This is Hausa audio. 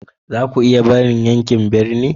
Za ku iya barin yankin birni?